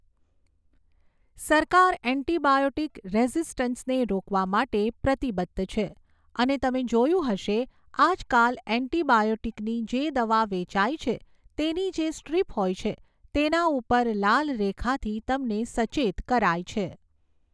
સરકાર એન્ટિબાયોટિક રેઝિસ્ટન્સને રોકવા માટે પ્રતિબદ્ધ છે અને તમે જોયું હશે, આજકાલ એન્ટિબાયોટિકની જે દવા વેચાઈ છે તેની જે સ્ટ્રીપ હોય છે તેના ઉપર લાલ રેખાથી તમને સચેત કરાય છે.